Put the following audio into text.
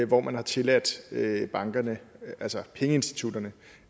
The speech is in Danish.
hvor man har tilladt bankerne altså pengeinstitutterne